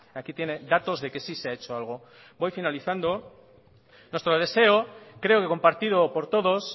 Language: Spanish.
aquí tiene datos de que sí se ha hecho algo voy finalizando nuestro deseo creo que compartido por todos